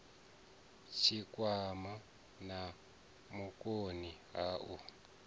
tshikwama na vhukoni ha u